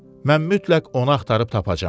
Mən mütləq onu axtarıb tapacağam.